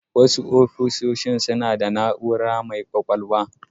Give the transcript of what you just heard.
Wasu ofisoshi suna da na'ura mai kwakwalwa